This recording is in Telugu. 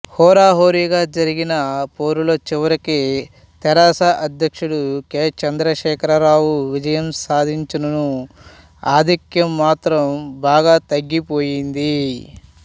హోరాహోరీగా జరిగిన పోరులో చివరికి తెరాస అధ్యక్షుడు కె చంద్రశేఖరరావు విజయం సాధించిననూ ఆధిక్యం మాత్రం బాగా తగ్గిపోయింది